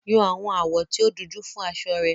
Yan àwọn àwọ̀ tí ó dunjú fún aṣọ rẹ